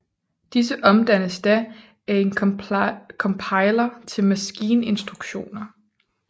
Disse omdannes da af en compiler til maskininstruktioner